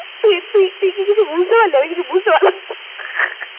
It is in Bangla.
তুই তুই তুই তুই কি কিছু বুঝতে পারলি? আমি কিছু বুঝতে পারলাম না।